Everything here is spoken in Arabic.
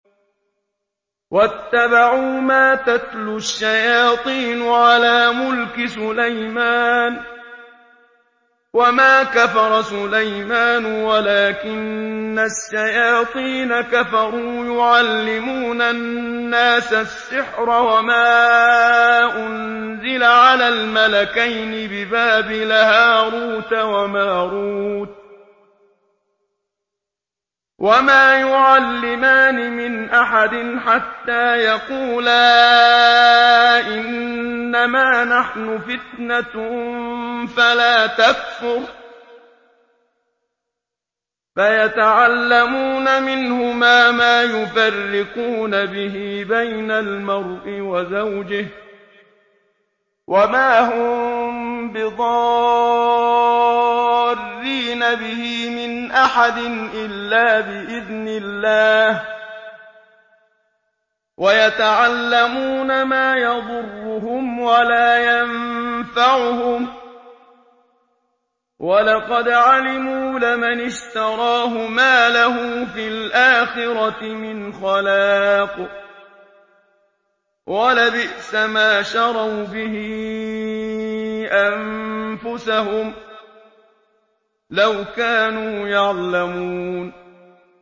وَاتَّبَعُوا مَا تَتْلُو الشَّيَاطِينُ عَلَىٰ مُلْكِ سُلَيْمَانَ ۖ وَمَا كَفَرَ سُلَيْمَانُ وَلَٰكِنَّ الشَّيَاطِينَ كَفَرُوا يُعَلِّمُونَ النَّاسَ السِّحْرَ وَمَا أُنزِلَ عَلَى الْمَلَكَيْنِ بِبَابِلَ هَارُوتَ وَمَارُوتَ ۚ وَمَا يُعَلِّمَانِ مِنْ أَحَدٍ حَتَّىٰ يَقُولَا إِنَّمَا نَحْنُ فِتْنَةٌ فَلَا تَكْفُرْ ۖ فَيَتَعَلَّمُونَ مِنْهُمَا مَا يُفَرِّقُونَ بِهِ بَيْنَ الْمَرْءِ وَزَوْجِهِ ۚ وَمَا هُم بِضَارِّينَ بِهِ مِنْ أَحَدٍ إِلَّا بِإِذْنِ اللَّهِ ۚ وَيَتَعَلَّمُونَ مَا يَضُرُّهُمْ وَلَا يَنفَعُهُمْ ۚ وَلَقَدْ عَلِمُوا لَمَنِ اشْتَرَاهُ مَا لَهُ فِي الْآخِرَةِ مِنْ خَلَاقٍ ۚ وَلَبِئْسَ مَا شَرَوْا بِهِ أَنفُسَهُمْ ۚ لَوْ كَانُوا يَعْلَمُونَ